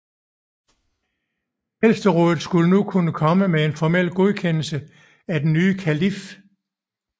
Ældsterådet skulle nu kun komme med en formel godkendelse af den nye kalif